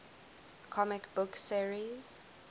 comic book series